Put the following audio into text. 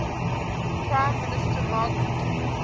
prime minister margaret